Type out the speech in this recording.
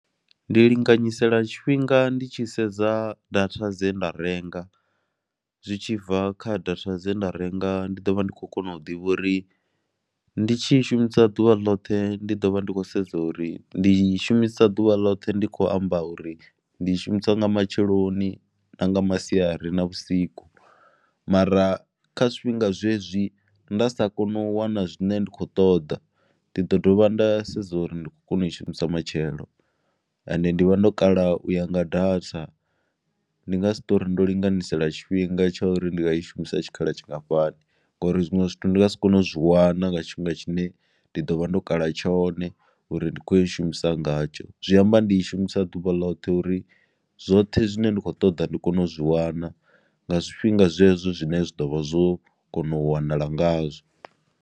Ndi linganyisela tshifhinga ndi tshi sedza data dze nda renga zwi tshi bva kha data dze nda renga ndi ḓo vha ndi khou kona u ḓivha uri ndi tshi shumisa ḓuvha ḽoṱhe ndi ḓo vha ndi khou sedza uri ndi shumisa ḓuvha ḽoṱhe ndi khou amba uri ndi i shumisa nga matsheloni na nga masiari na vhusiku mara kha zwifhinga zwezwi nda sa koni u wana zwine nda khou ṱoḓa ndi ḓo dovha nda sedza uri ndi kho kona u i shumisa matshelo, ende ndi vha ndo kala u ya nga data ndi nga si touri ndo linganyisela tshifhinga tsha uri ndi nga i shumisa tshikhala tshingafhani ngori zwinwe zwithu ndi nga si kone u zwi wana nga tshifhinga tshine ndi ḓo vha ndo kala tshone uri ndi khou i shumisa ngatsho, zwi amba ndi i shumisa ḓuvha ḽoṱhe uri zwoṱhe zwine nda kho ṱoḓa ndi kone u zwi wana nga zwifhinga zwezwo zwine zwa ḓo vha zwo kona u wanala ngazwo.